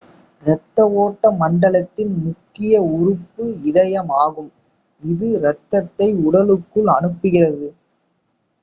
இரத்த ஓட்ட மண்டலத்தின் முக்கிய உறுப்பு இதயம் ஆகும் இது இரத்தத்தை உடலுக்குள் அனுப்புகிறது